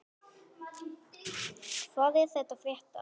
Hvað er að frétta??